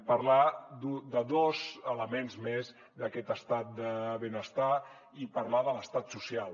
parlar de dos elements més d’aquest estat del benestar i parlar de l’estat social